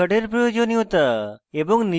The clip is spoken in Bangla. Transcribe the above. pan card প্রয়োজনীয়তা এবং